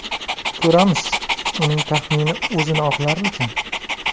Ko‘ramiz, uning taxmini o‘zini oqlarmikan.